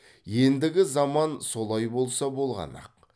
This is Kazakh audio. ендігі заман солай болса болғаны ақ